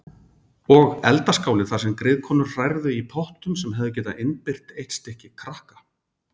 Og eldaskáli þar sem griðkonur hrærðu í pottum sem hefðu getað innbyrt eitt stykki krakka.